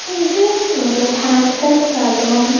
இது ஒரு haircut saloon .